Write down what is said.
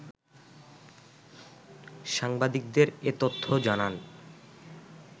সাংবাদিকদের এ তথ্য জানান